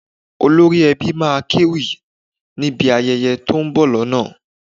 Olórí Ẹbí máa kéwì níbi ayẹyẹ tó ń bọ̀ lọ́nà